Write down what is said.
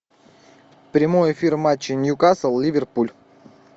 прямой эфир матча ньюкасл ливерпуль